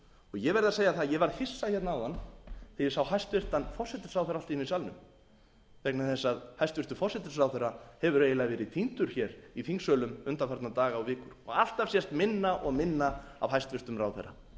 ég verð að segja það að ég varð hissa hérna áðan þegar ég sá hæstvirtur forsætisráðherra allt í einu í salnum vegna þess að hæstvirtur forsætisráðherra hefur eiginlega verið týndur hér í þingsölum undanfarna daga og vikur og alltaf sést minna og minna af hæstvirtum ráðherra